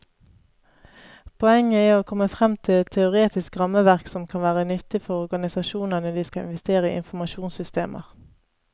Poenget er å komme frem til et teoretisk rammeverk som kan være nyttig for organisasjoner når de skal investere i informasjonssystemer.